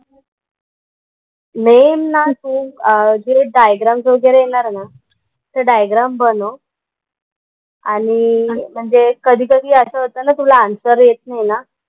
main ना तू जे अह डायग्राम्स वगैरे येणार आहे ना ते डायग्राम्स बनव आणि म्हणजे कधी कधी असं होतं ना तुला आन्सर येत नाही ना,